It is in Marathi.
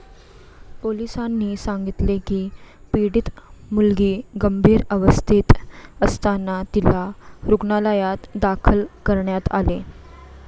पोलिसांनी सांगितले की, पीडित मुलगी गंभीर अवस्थेत असताना तिला रुग्णालयात दाखल करण्यात आले.